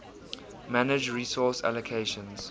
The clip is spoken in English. manage resource allocations